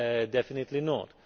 Definitely not.